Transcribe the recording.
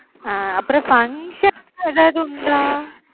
அஹ் அப்பறம் function லாம் எதாவது உண்டா?